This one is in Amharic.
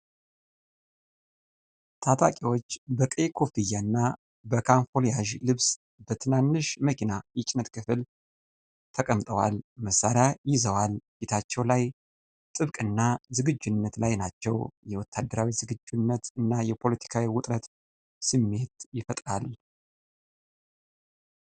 ታጠቂዎች በቀይ ኮፍያና በካሞፍላዥ ልብስ በትናንሽ መኪና የጭነት ክፍል ተቀምጠዋል። መሳሪያ ይዘዋል፣ ፊታቸው ላይ ጥብቅና ዝግጁነት ላይ ናቸው ።የወታደራዊ ዝግጁነት እና የፖለቲካዊ ውጥረትን ስሜት ይፈጥራል።